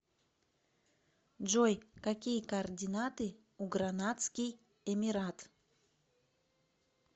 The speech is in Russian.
джой какие координаты у гранадский эмират